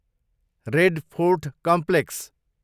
red Fort complex